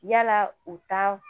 Yala u ta